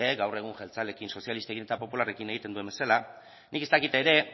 gaur egun jeltzaleekin sozialistekin eta popularrekin egiten duen bezala nik ez dakit ere